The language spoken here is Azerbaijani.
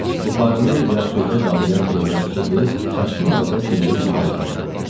Buxarını yaxşıca qalayayan xidmətçi qız çaşqın halda Sinyor Vitalisə baxırdı.